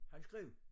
Han skrev